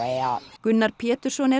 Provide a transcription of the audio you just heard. Gunnar Pétursson er